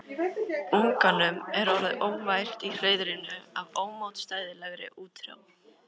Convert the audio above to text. Unganum er orðið óvært í hreiðrinu af ómótstæðilegri útþrá.